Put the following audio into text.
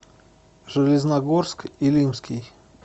железногорск илимский